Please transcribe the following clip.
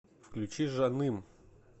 включи жаным